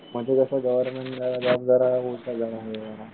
म्हणजे कस गव्हर्नमेंटमुळे जॉब जरा